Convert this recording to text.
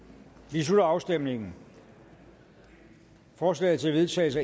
slutter afstemningen forslag til vedtagelse